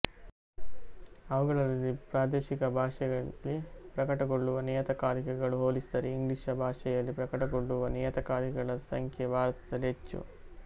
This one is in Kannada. ಅವುಗಳಲ್ಲಿ ಪ್ರಾದೇಶಿಕ ಭಾಷೆಯಲ್ಲಿ ಪ್ರಕಟಗೊಳ್ಳುವ ನಿಯತಕಾಲಿಕಗಳು ಹೊಲಿಸಿದರೆ ಇಂಗ್ಲೀಷ ಭಾಷೆಯಲ್ಲಿ ಪ್ರಕಟಗೊಳ್ಳುವ ನಿಯತಕಾಲಿಗಳ ಸಂಖ್ಯೆ ಭಾರತದಲ್ಲಿ ಹೆಚ್ಚು